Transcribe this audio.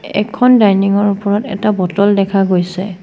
এখন ডাইনিং ৰ ওপৰত এটা বটল দেখা গৈছে।